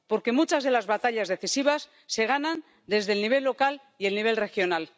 Porque muchas de las batallas decisivas se ganan desde el nivel local y el nivel regional.